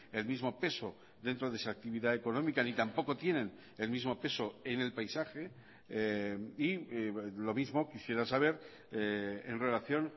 el mismo peso dentro de esa actividad económica ni tampoco tienen el mismo peso en el paisaje y lo mismo quisiera saber en relación